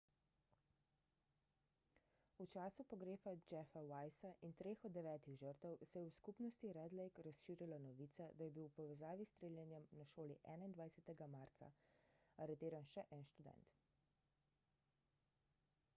v času pogreba jeffa weisa in treh od devetih žrtev se je v skupnosti red lake razširila novica da je bil v povezavi s streljanjem na šoli 21 marca aretiran še en študent